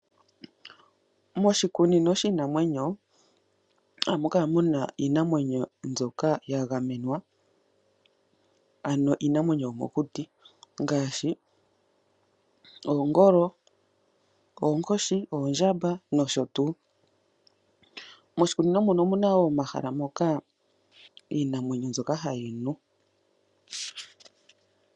Moshikunino shiinanwenyo oha mu kala muna iinamwenyo mbyoka ya gamenwa ano iinamwenyo yomokuti ngaashi oongolo ,oonkoshi, oondjamba nosho tuu. Moshikunino muno omuna woo omahala mpoka iinamwenyo hayi nu.